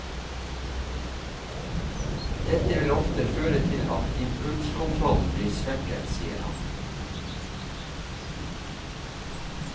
Dette vil ofte føre til at impulskontrollen blir svekket, sier han.